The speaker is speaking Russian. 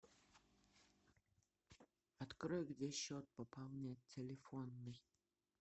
открой где счет пополнять телефонный